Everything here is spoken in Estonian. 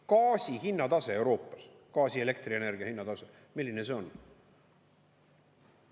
Gaasi hinnatase Euroopas, gaasi ja elektrienergia hinnatase, milline see on?